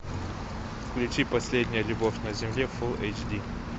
включи последняя любовь на земле фул эйч ди